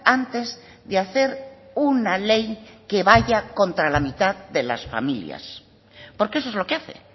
antes de hacer una ley que vaya contra la mitad de las familias porque eso es lo que hace